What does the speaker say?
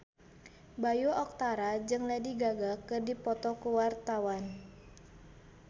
Bayu Octara jeung Lady Gaga keur dipoto ku wartawan